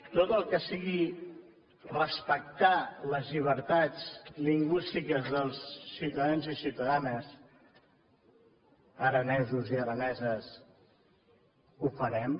tot el que sigui respectar les llibertats lingüístiques dels ciutadans i ciutadanes aranesos i araneses ho farem